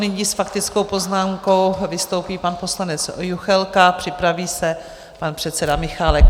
Nyní s faktickou poznámkou vystoupí pan poslanec Juchelka, připraví se pan předseda Michálek.